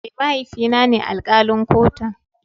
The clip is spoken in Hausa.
Eh, mahaifi na ne alkalin kotun.